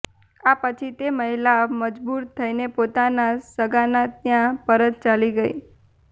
આ પછી તે મહિલા મજબૂર થઈને પોતાના સગાના ત્યાં પરત ચાલી ગઈ